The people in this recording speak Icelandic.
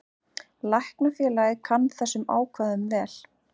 Læknafélagið kann þessum ákvæðum vel.